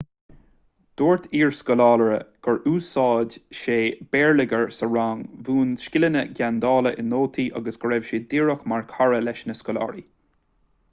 dúirt iarscoláire gur 'úsáid sé béarlagair sa rang mhúin scileanna geandála i nótaí agus go raibh sé díreach mar chara leis na scoláirí.'